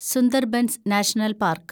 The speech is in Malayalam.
Sundarbans national park